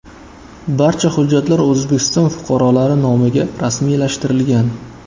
Barcha hujjatlar O‘zbekiston fuqarolari nomiga rasmiylashtirilgan.